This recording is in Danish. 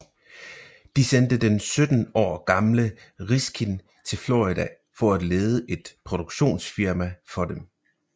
De sendte den sytten år gamle Riskin til Florida for at lede et produktionsfirma for dem